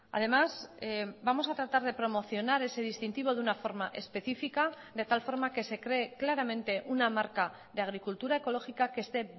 además vamos a tratar de promocionar ese distintivo de una forma específica de tal forma que se cree claramente una marca de agricultura ecológica que esté